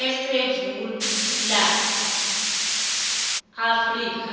esewula afrika